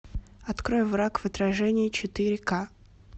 открой враг в отражении четыре ка